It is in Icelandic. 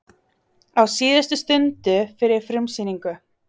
Á síðustu stundu fyrir frumsýningu